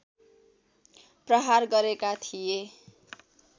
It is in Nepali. प्रहार गरेका थिए